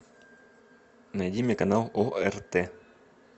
найди мне канал орт